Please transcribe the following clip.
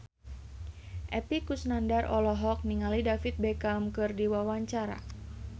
Epy Kusnandar olohok ningali David Beckham keur diwawancara